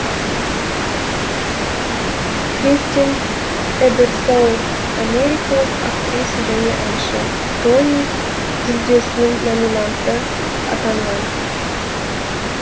кристин эберсоул америкалық актриса және әнші тони жүлдесінің номинанты атанған